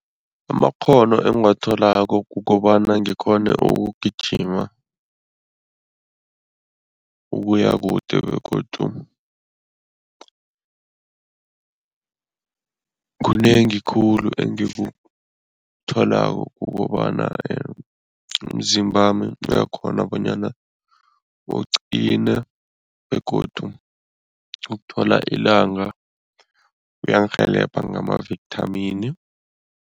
Amakghono engiwatholako kukobana ngikghone ukugijima, ukuya kude begodu kunengi khulu engikutholako kukobana umzimbami uyakghona bonyana uqine begodu ukuthola ilanga kuyangirhelebha ngamavithamini.